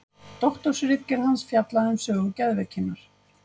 Doktorsritgerð hans fjallaði um sögu geðveikinnar.